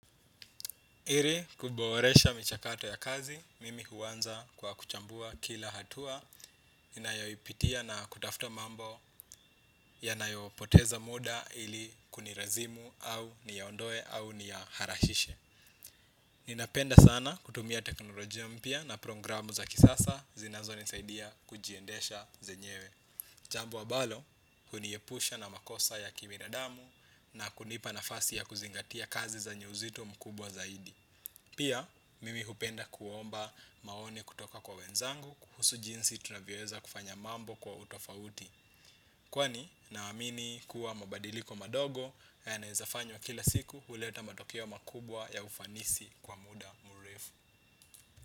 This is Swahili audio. Ili kuboresha michakato ya kazi, mimi huanza kwa kuchambua kila hatua ninayoipitia na kutafuta mambo ya nayopoteza muda ili kunilazimu au niyaondoe au niya harahishe. Ninapenda sana kutumia teknolojia mpya na programu za kisasa zinazoni saidia kujiendesha zenyewe. Jambo ambalo, huniepusha na makosa ya kibinadamu na kunipa nafasi ya kuzingatia kazi zenye uzito mkubwa zaidi. Pia, mimi hupenda kuomba maoni kutoka kwa wenzangu kuhusu jinsi tunavyoweza kufanya mambo kwa utofauti. Kwani, naamini kuwa mabadiliko madogo ya nawezafanywa kila siku huleta matukio makubwa ya ufanisi kwa muda mrefu.